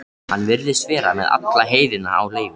Hann virðist vera með alla heiðina á leigu.